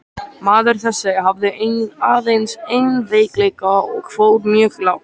Maður þessi hafði aðeins einn veikleika og fór mjög lágt.